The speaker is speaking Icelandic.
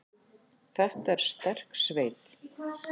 Þetta er sterk sveit.